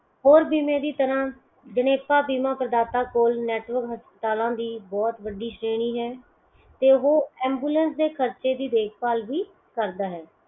ਹੋਰ ਜਿਨੇ ਵੀ ਤਰ੍ਹਾਂ ਜਣੇਪਾ ਬੀਮਾ ਪਰਦਾਤਾ ਕੋਲ network ਹਸਪਤਾਲਾਂ ਦੀ ਬਹੁਤ ਵੱਡੀ ਸ਼੍ਰੇਣੀ ਹੈ ਤੇ ਓਹ ambulance ਦੇ ਖਰਚੇ ਦੀ ਦੇਖ ਬਾਲ ਵੀ ਕਰਦਾ ਹੈ